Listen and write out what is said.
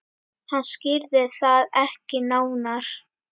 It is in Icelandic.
Hann skýrði það ekki nánar.